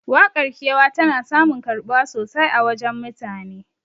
Waƙar kewa tana samun karɓuwa sosai a wajen mutane